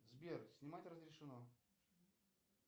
сбер снимать разрешено